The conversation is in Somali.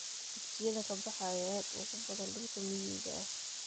Dugsiyada ka baxa ayaa aad ugu badan dhulka miyiga ah.